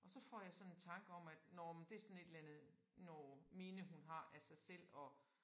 Og så får jeg sådan en tanke om at nåh men det sådan et eller andet nåh minde hun har af sig selv og